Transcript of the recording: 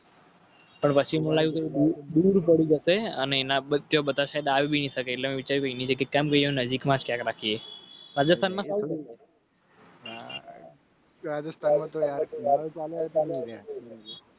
અને એનાનજીક રાખીએરાજસ્થાનમાં